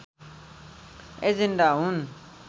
agenda हुन्